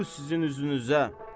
Tufu sizin üzünüzə.